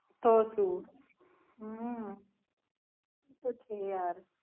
તો સુ હમ એ તો છે યાર.